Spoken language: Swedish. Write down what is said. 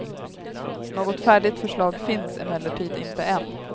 Något färdigt förslag finns emellertid inte än.